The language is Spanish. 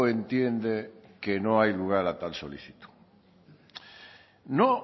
entiende que no hay lugar a tal solicitud no